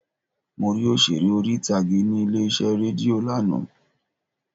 Mo rí Òṣeré orí ìtàgé ní ilé iṣẹ́ rédíò lánàá.